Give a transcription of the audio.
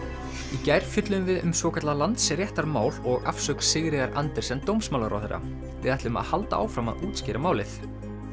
í gær fjölluðum við um svokallað Landsréttarmál og afsögn Sigríðar Andersen dómsmálaráðherra við ætlum að halda áfram að útskýra málið